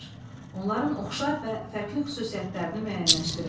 Onların oxşar və fərqli xüsusiyyətlərini müəyyənləşdirin.